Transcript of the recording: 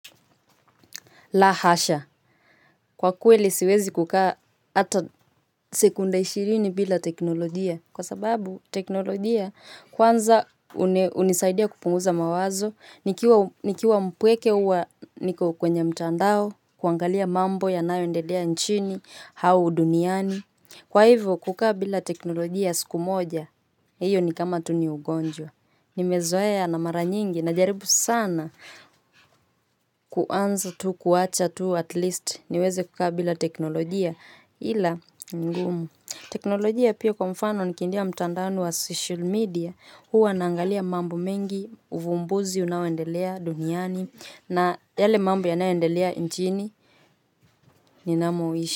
La hasha. Kwa kweli siwezi kukaa hata sekunda ishirini bila teknolojia. Kwa sababu teknolojia kwanza hunisaidia kupunguza mawazo. Nikiwa mpweke huwa niko kwenye mtandao, kuangalia mambo yanayoendelea nchini, au duniani. Kwa hivyo, kukaa bila teknolojia siku moja, hiyo ni kama tu ni ugonjwa. Nimezoea na mara nyingi najaribu sana kuanza tu kuacha tu at least niweze kukaa bila teknolojia ila ni ngumu. Teknolojia pia kwa mfano nikiingia mtandao wa social media huwa naangalia mambo mengi, uvumbuzi unawendelea duniani na yale mambo yanayoendelea nchini ninamoishi.